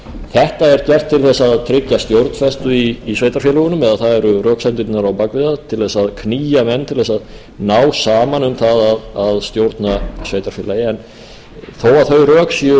þetta er gert til þess að tryggja stjórnfestu í sveitarfélögunum eða það eru röksemdirnar á bak við það til þess að knýja menn til þess að ná saman um það að stjórna sveitarfélagi þó að þau rök séu